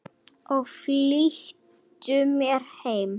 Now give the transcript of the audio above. Ég flýtti mér heim.